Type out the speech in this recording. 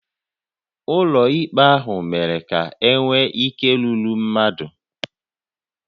Ụlọ ikpe ahụ mere ka e nwee ike rúrú mmadụ